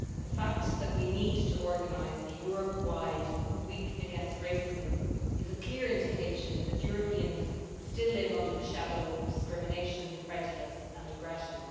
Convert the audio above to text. The fact that we need to organise a Europe wide Week Against Racism is a clear indication that Europeans still live under the shadow of discrimination, prejudice and aggression.